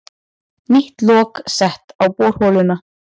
Nýtt lok sett á borholuna